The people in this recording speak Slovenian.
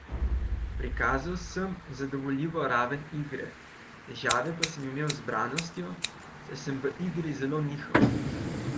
Prikazal sem zadovoljivo raven igre, težave sem imel le z zbranostjo, saj sem v igri zelo nihal.